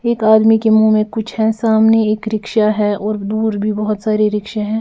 एक आदमी के मुंह में कुछ है सामने एक रिक्शा है और दूर भी बहुत सारे रिक्शे हैं।